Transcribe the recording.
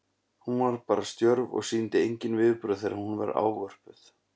Hún varð bara stjörf og sýndi engin viðbrögð þegar hún var ávörpuð.